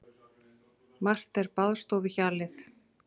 Margt er baðstofuhjalið.